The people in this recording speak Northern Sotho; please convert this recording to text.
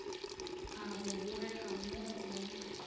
a go bogega mo o